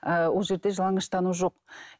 ыыы ол жерде жалаңаштану жоқ